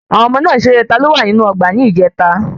Àwọn ọmọ náà ṣe eré"Taló wa nínú ọgbà"ní ìjèta